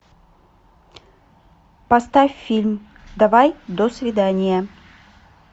поставь фильм давай до свидания